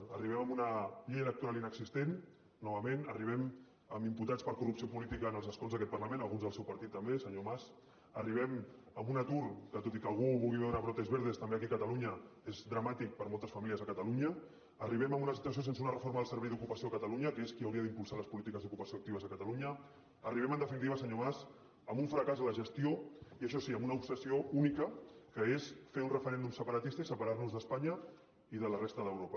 hi arribem amb una llei electoral inexistent novament hi arribem amb imputats per corrupció política en els escons d’aquest parlament alguns del seu partit també senyor mas hi arribem amb un atur que tot i que algú hi vulgui veure brotes verdes també aquí a catalunya és molt dramàtic per a moltes famílies a catalunya hi arribem amb una situació sense una reforma del servei d’ocupació a catalunya que és qui hauria d’impulsar les polítiques d’ocupació actives a catalunya hi arribem en definitiva senyor mas amb un fracàs en la gestió i això sí amb una obsessió única que és fer un referèndum separatista i separar nos d’espanya i de la resta d’europa